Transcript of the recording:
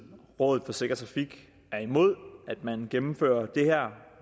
og rådet for sikker trafik er imod at man gennemfører det her